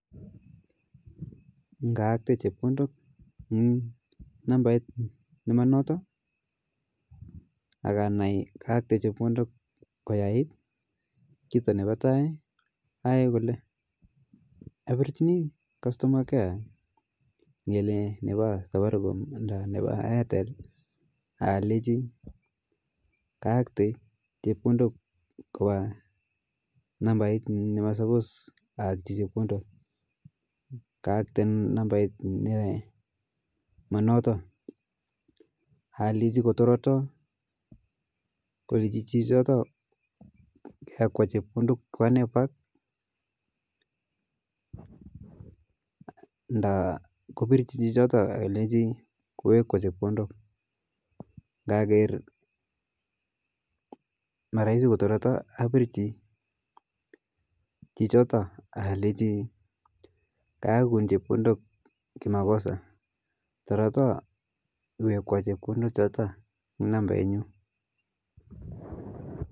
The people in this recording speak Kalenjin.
Ngaate chepkondok eng nambet ne manoto aka nai kaate chepkodok koyait, kito nepa tai aae kole apirichini kastoma care ngele nepa safaricom nda nepa airtel akalechi kaate chepkondok kopa nambait ne manoto aleji kotoroto keliji chito koyakwa chepkondot choto nda kopirchi chichoto kuyakwa nda ngaker maraisi kotoroto apirchi chichoto akaleji kayakun chepkondok kimakosa toroto iwekwa chepkondok choto eng nambait nyuu